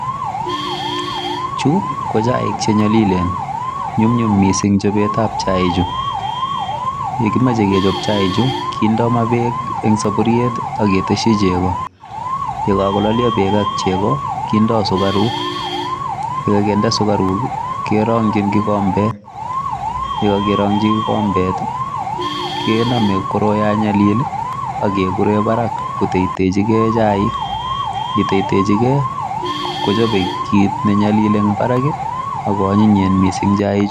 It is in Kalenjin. Chu, ko chaik che nyalilen. Nyumnyum missing chobetab chaik chu. Yekimache kechop chaik chu, kindoi maa beek eng' saburiet, aketeshi chego. Yekakololio beek ak chego, kindoi sukaruk. Yekakende sukaruk, kerongchin kikombet. Yekakerongchi kikombet, kename koroi ya nyalil, akekure barak, koteitechike hcaik. Yeiteiteichike, kochope kit ne nyalil eng' barak, ako anyinyen missing chaik chu